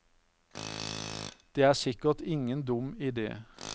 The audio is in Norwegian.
Det er sikkert ingen dum idé.